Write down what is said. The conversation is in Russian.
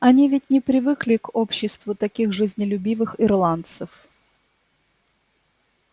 они ведь не привыкли к обществу таких жизнелюбивых ирландцев